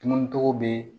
Tununi cogo bɛ